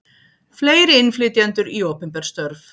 Fleiri innflytjendur í opinber störf